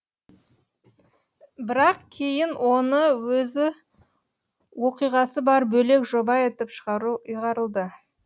бірақ кейін оны өз оқиғасы бар бөлек жоба етіп шығару ұйғарылды